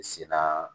Sina